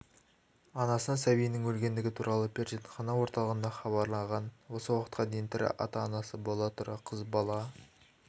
анасына сәбиінің өлгендігі туралы перзентхана орталығында хабарлаған осы уақытқа дейін тірі ата-анасы бола тұра қыз бала